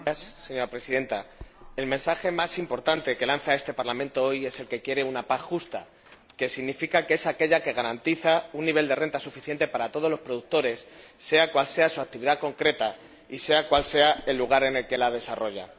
Señora Presidenta, el mensaje más importante que lanza este Parlamento hoy es que quiere una PAC justa, lo que significa una PAC que garantice un nivel de renta suficiente para todos los productores, sea cual sea su actividad concreta y sea cual sea el lugar en el que la desarrolla.